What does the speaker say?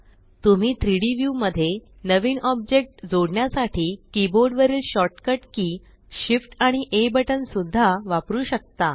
तुम्ही 3Dव्यू मध्ये नवीन ऑब्जेक्ट जोडण्यसाठी कीबोर्ड वरील शॉर्टकट की shift आणि आ बटन सुद्धा वापरु शकता